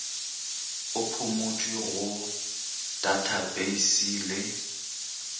e phumutšwe go tathapeisi le